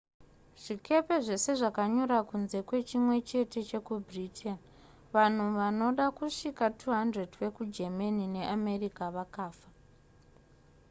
zvikepe zvese zvakanyura kunze kwechimwe chete chekubritain vanhu vanoda kusvika 200 vekugermany neamerica vakafa